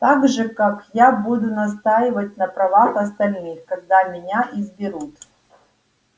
так же как я буду настаивать на правах остальных когда меня изберут